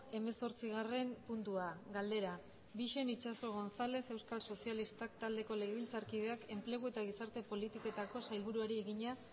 hemezortzigarren puntua galdera bixen itxaso gonzález euskal sozialistak taldeko legebiltzarkideak enplegu eta gizarte politiketako sailburuari egina